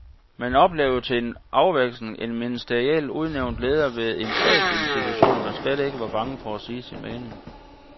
Man oplevede til en afveksling en ministerielt udnævnt leder ved en statsinstitution, der slet ikke var bange for sige sin mening.